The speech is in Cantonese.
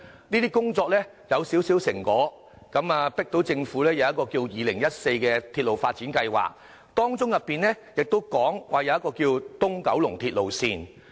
這些工作已取得少許成果，迫使政府推行《鐵路發展策略2014》，當中提到東九龍線。